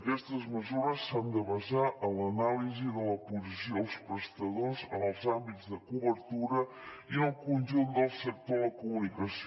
aquestes mesures s’han de basar en l’anàlisi de la posició dels prestadors en els àmbits de cobertura i en el conjunt del sector de la comunicació